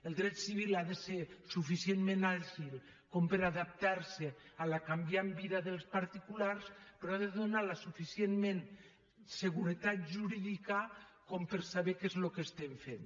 el dret civil ha de ser suficientment àgil per adaptar se a la canviant vida dels particulars però ha de donar la suficient seguretat jurídica per saber què és el que estem fent